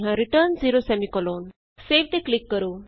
return 0 save ਤੇ click ਕਰੋ